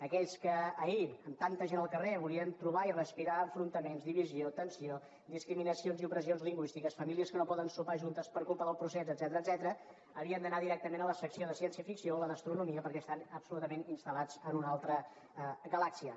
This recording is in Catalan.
aquells que ahir amb tanta gent al carrer volien trobar i respirar enfrontaments divisió tensió discriminacions i opressions lingüístiques famílies que no poden sopar juntes per culpa del procés etcètera havien d’anar directament a la secció de ciència ficció o a la d’astronomia perquè estan absolutament instal·lats en una altra galàxia